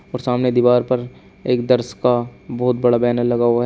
ऊपर सामने दीवार पर एक दर्श का बहौत बड़ा बैनर लगा हुआ है।